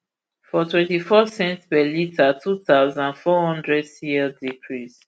smnrp for ip twentyfour cents per litre two thousand, four hundred cl decrease